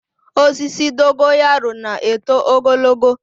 Osisi Dogo yaro na-eto ogologo.